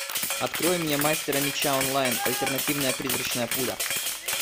открой мне мастера меча онлайн альтернативная призрачная пуля